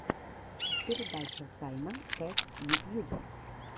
передача саймонс кэт ютьюб